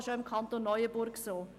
das ist auch im Kanton Neuenburg so.